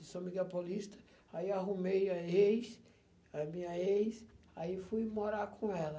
Em São Miguel Paulista, aí arrumei a ex, a minha ex, aí fui morar com ela.